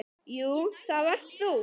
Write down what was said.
Jú, það varst þú.